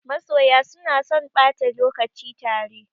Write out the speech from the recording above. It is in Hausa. Masoya suna son ɓata lokaci tare.